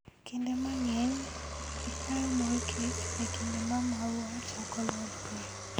Kinde mang'eny, ikayo mor kich e kinde ma maua chako lothie.